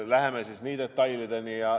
Läheme siis nii detailideni.